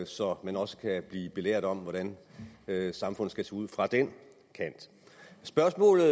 så man også kan blive belært om hvordan samfundet skal se ud fra den kant spørgsmålet